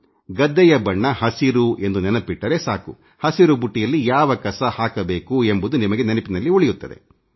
ಗದ್ದೆಯ ಬಣ್ಣ ಹಸಿರು ಎಂದು ನೆನಪಿಟ್ಟರೆ ಸಾಕು ಹಸಿರು ಬುಟ್ಟಿಯಲ್ಲಿ ಯಾವ ಕಸ ಹಾಕಬೇಕು ಎಂಬುದು ನಿಮಗೆ ನೆನಪಿನಲ್ಲಿ ಉಳಿಯುತ್ತದೆ